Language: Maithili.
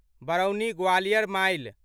बरौनी ग्वालियर माइल